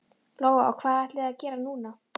Lóa: Og hvað ætlið þið að gera núna?